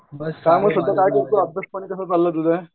अभ्यास पाणी कसं चालू आहे तुझं?